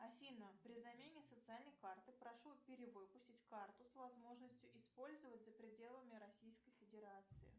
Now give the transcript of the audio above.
афина при замене социальной карты прошу перевыпустить карту с возможностью использовать за пределами российской федерации